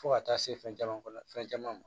Fo ka taa se fɛn caman kɔnɔ fɛn caman ma